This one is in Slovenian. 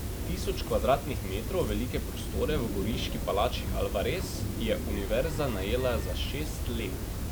Tisoč kvadratnih metrov velike prostore v goriški palači Alvarez je univerza najela za šest let.